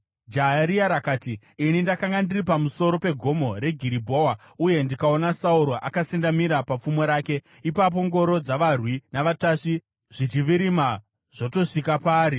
Jaya riya rakati, “Ini ndakanga ndiri pamusoro peGomo reGiribhoa, uye ndikaona Sauro akasendamira papfumo rake, ipapo ngoro dzavarwi navatasvi zvichivirima zvotosvika paari.